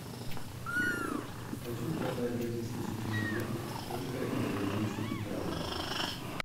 хочу продать две тысячи тенге сколько это в бразильских реалах